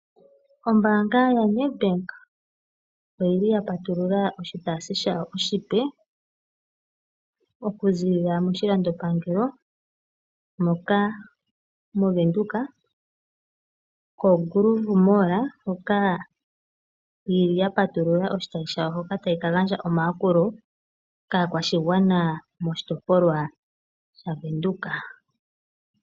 Ombaanga yaNedbank oya patulula oshitayi shawo oshipe, okuziilila moshilandopangelo mOvenduka koGroove mall hoka tayi ka gandja omayakulo kaakwashigwana moshitopolwa shaVenduka.